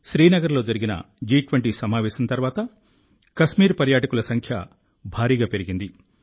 శ్రీనగర్లో జరిగిన జి20 సమావేశం తర్వాత కశ్మీర్ పర్యాటకుల సంఖ్య భారీగా పెరిగింది